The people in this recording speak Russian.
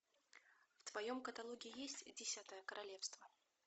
в твоем каталоге есть десятое королевство